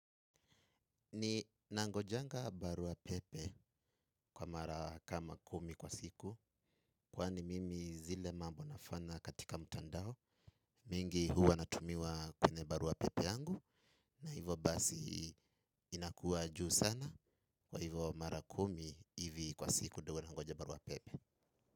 Ninangojanga barua pepe kwa mara kama kumi kwa siku kwani mimi zile mambo nafanya katika mtandao mingi huwa natumiwa kwenye barua pepe yangu na hivyo basi inakuwa juu sana kwa hivyo mara kumi hivi kwa siku ndio huwa nangoja barua pepe.